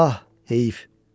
Ah, heyf.